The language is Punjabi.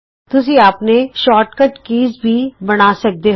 ਤੁਸੀਂ ਆਪਣੇ ਸ਼ੌਰਟ ਕੱਟ ਬਟਨ ਵੀ ਬਣਾ ਸਕਦੇ ਹੋ